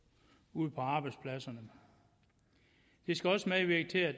ude på arbejdspladserne det skal også medvirke til at